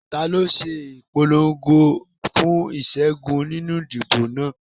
Ta ló ń ṣe ìpolongo fún ìṣẹ́gun nínú ìdìbò náà?